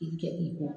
I kɛ i kɔ